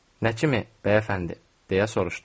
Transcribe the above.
Nə kimi bəyəfəndi, deyə soruşdum.